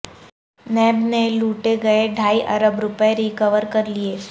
NAB نے لوٹے گئے ڈھائی ارب روپے ریکور کر لیے